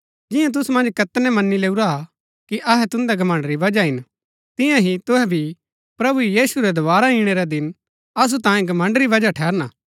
जियां तुसु मन्ज कैतनै मनी लैऊ हा कि अहै तुन्दै घमण्ड़ री वजह हिन तियां ही तुहै भी प्रभु यीशु रै दोवारा इणै रै दिन असु तांयें घमण्ड़ री वजह ठहरना